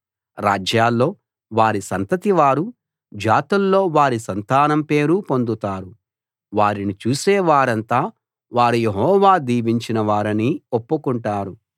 రాజ్యాల్లో వారి సంతతివారు జాతుల్లో వారి సంతానం పేరు పొందుతారు వారిని చూసే వారంతా వారు యెహోవా దీవించినవారని ఒప్పుకుంటారు